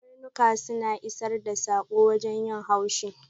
Ƙarnuka suna isar da sako wajen yin haushi.